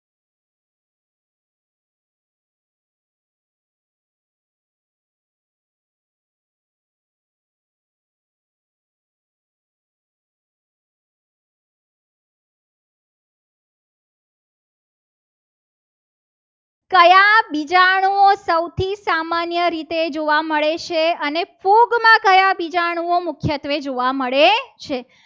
કયા બીજાણુઓ સૌથી સામાન્ય રીતે જોવા મળે છે. અને ફૂગમાં કયા બીજાણુઓ મુખ્યત્વે જોવા મળે છે.